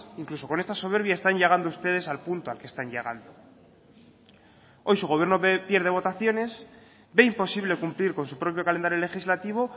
incluso con esta soberbia están llegando ustedes al punto al que están llegando hoy su gobierno pierde votaciones ve imposible cumplir con su propio calendario legislativo